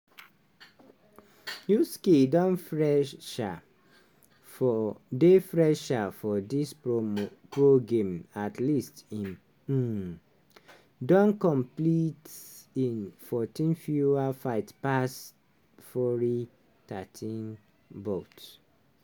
usyk don fresher for dey fresher for di promo di pro game at least im um don compet in 14 fewer fights pass fury thirteen bouts.